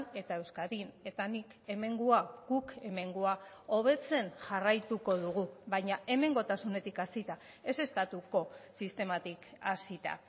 eta euskadin eta nik hemengoa guk hemengoa hobetzen jarraituko dugu baina hemengotasunetik hasita ez estatuko sistematik hasita